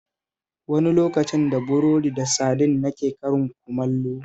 Wani lokacin da burodi da sadin nake karin kumallo